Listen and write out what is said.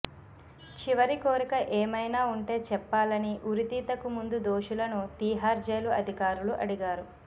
చివరి కోరిక ఏమైనా ఉంటే చెప్పాలని ఉరితీతకు ముందు దోషులను తీహార్ జైలు అధికారులు అడిగారు